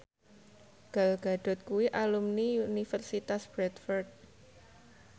Gal Gadot kuwi alumni Universitas Bradford